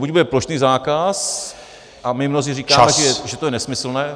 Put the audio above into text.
Buď bude plošný zákaz - a my mnozí říkáme , že to je nesmyslné.